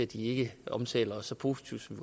de ikke omtaler os så positivt som